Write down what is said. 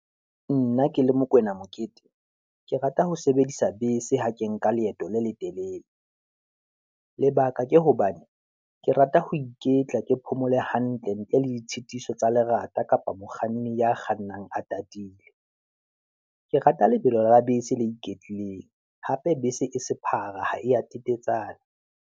Nna ke le Mokoena Mokete, ke rata ho sebedisa bese ha ke nka leeto le letelele, lebaka ke hobane ke rata ho iketla, ke phomole hantle ntle le ditshitiso tsa lerata kapa mokganni ya kgannang a tatile. Ke rata lebelo la bese le iketlileng, hape bese e sephara ha e ya petetsana.